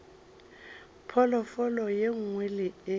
phoofolo e nngwe le e